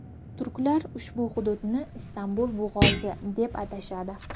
Turklar ushbu hududni Istanbul bo‘g‘ozi, deb atashadi.